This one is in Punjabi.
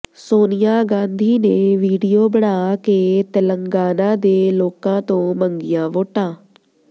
ਸੋਨੀਆ ਗਾਂਧੀ ਨੇ ਵੀਡੀਓ ਬਣਾ ਕੇ ਤੇਲੰਗਾਨਾ ਦੇ ਲੋਕਾਂ ਤੋਂ ਮੰਗੀਆਂ ਵੋਟਾਂ